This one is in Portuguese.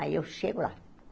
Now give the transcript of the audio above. Aí eu chego lá.